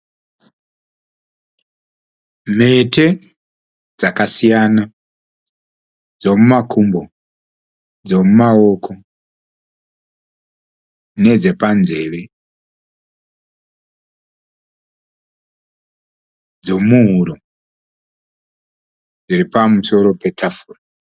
Mhete dzakasiyana dzemumakumbo, dzemumaoko, nedze panzeve, dzemuhuro dziri pamusoro petafura.